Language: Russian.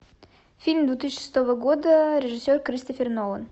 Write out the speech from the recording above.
фильм две тысячи шестого года режиссер кристофер нолан